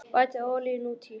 Bætið olíunni út í.